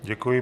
Děkuji.